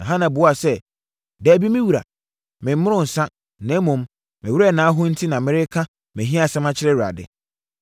Na Hana buaa sɛ, “Dabi, me wura, memmoroo nsã, na mmom, me werɛ na aho enti na mereka mʼahiasɛm akyerɛ Awurade.